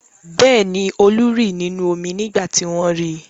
Bẹ́ẹ̀ ni, Olú rì nínú omi nígbà tí wọ́n ri.